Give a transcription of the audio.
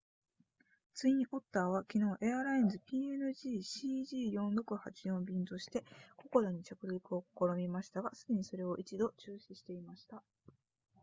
ツインオッターは昨日エアラインズ png cg4684 便としてココダに着陸を試みましたがすでにそれを一度中止していました